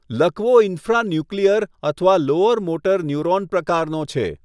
લકવો infranuclear અથવા lower motor neuron પ્રકારનો છે.